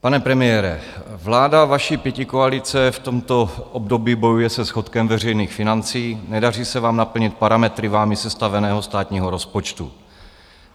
Pane premiére, vláda vaší pětikoalice v tomto období bojuje se schodkem veřejných financí, nedaří se vám naplnit parametry vámi sestaveného státního rozpočtu.